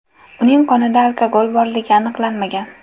Uning qonida alkogol borligi aniqlanmagan.